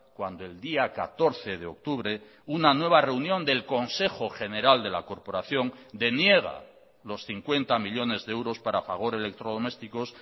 cuando el día catorce de octubre una nueva reunión del consejo general de la corporación deniega los cincuenta millónes de euros para fagor electrodomésticos